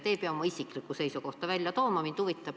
Te ei pea oma isiklikku seisukohta välja tooma.